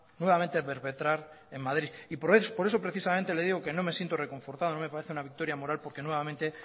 nuevamente a perpetrar en madrid y por eso precisamente le digo que no me siento reconfortado no me parece una victoria moral porque nuevamente